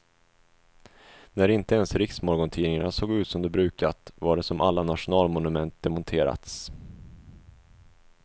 När inte ens riksmorgontidningarna såg ut som de brukat, var det som alla nationalmonument demonterats.